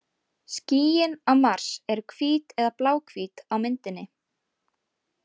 Skýin á Mars eru hvít eða bláhvít á myndinni.